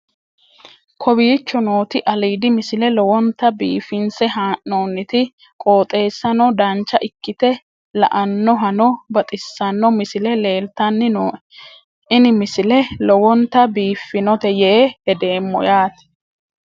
kowicho nooti aliidi misile lowonta biifinse haa'noonniti qooxeessano dancha ikkite la'annohano baxissanno misile leeltanni nooe ini misile lowonta biifffinnote yee hedeemmo yaate